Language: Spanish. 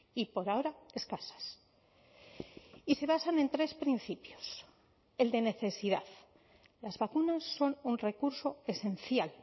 y por ahora escasas y se basan en tres principios el de necesidad las vacunas son un recurso esencial